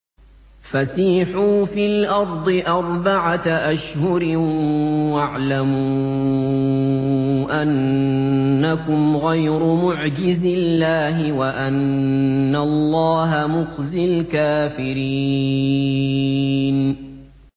فَسِيحُوا فِي الْأَرْضِ أَرْبَعَةَ أَشْهُرٍ وَاعْلَمُوا أَنَّكُمْ غَيْرُ مُعْجِزِي اللَّهِ ۙ وَأَنَّ اللَّهَ مُخْزِي الْكَافِرِينَ